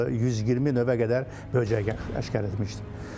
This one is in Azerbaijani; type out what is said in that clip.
Orda 120 növə qədər böcəklər aşkaretmişdi.